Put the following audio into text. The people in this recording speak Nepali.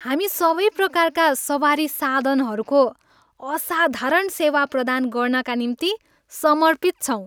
हामी सबै प्रकारका सवारी साधनहरूको असाधारण सेवा प्रदान गर्नाका निम्ति समर्पित छौँ।